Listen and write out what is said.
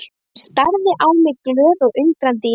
Hún starði á mig glöð og undrandi í senn.